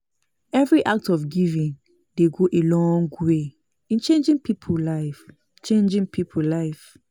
Evri act of giving dey go a long way in changin pipo life changin pipo life